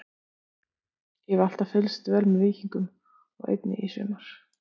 Ég hef alltaf fylgst vel með Víkingum og einnig í sumar.